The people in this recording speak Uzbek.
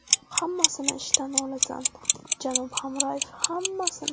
Hammasini ishdan olasan, janob Hamrayev, hammasini.